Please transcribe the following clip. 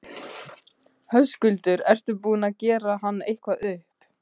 Höskuldur: Ertu búinn að gera hann eitthvað upp?